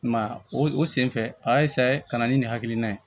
I m'a ye o o senfɛ a y'a ka na ni nin hakilina ye